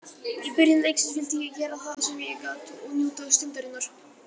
Í byrjun leiksins vildi ég gera það sem ég gat og njóta stundarinnar.